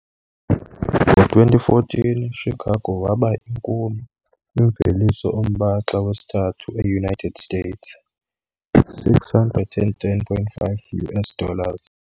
Ngo-2014, Chicago waba inkulu kwimveliso ombaxa wesithathu eUnited States 610,5 US dollars.